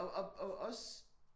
Og og og også